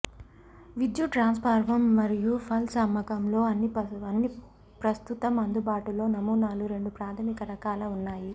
విద్యుత్ ట్రాన్స్ఫార్మర్ మరియు పల్స్ అమ్మకం లో అన్ని ప్రస్తుతం అందుబాటులో నమూనాలు రెండు ప్రాథమిక రకాల ఉన్నాయి